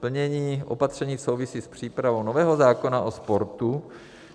Plnění - opatření souvisí s přípravou nového zákona o sportu.